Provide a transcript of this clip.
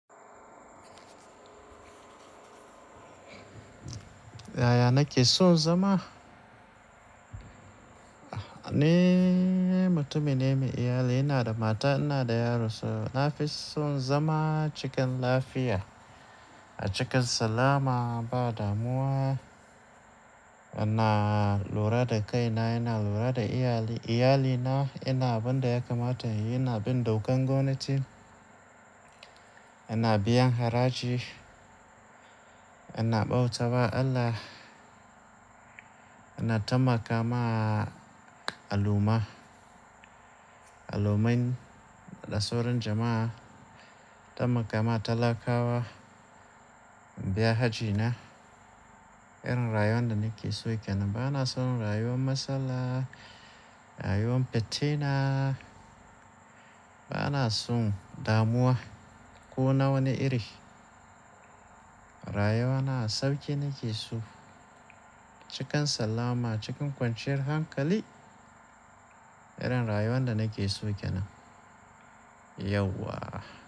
Yaya nake son zama? Ni mutumi ne mai iyali, ina da mata, ina da yaro sau. Nafison zama cikin lafiya, a cikin salama ba damuwa. Ina lura da kaina, ina lura da iyali-- iyalina. Ina bin da ya kamata yi, ina bin dokan gwamnati. Ina biyan haraji, ina ɓauta wa Allah, ina taimakawa al'umma, al'ummin da sauran jama'a. Taimakawa talakawa, biya hajina. Irin rayuwan da nake so kenan. Bana son rayuwan matsala, rayuwan fittina. Bana son damuwa ko na wani iri. Rayuwana sauƙi nake so, cikin salama, cikin kwanciyar hankali. Irin rayuwan da nake so kenan. Yauwa.